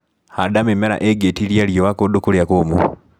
Handa mĩmera ĩngĩtiria riũa kũndũ kũrĩa kũmũ.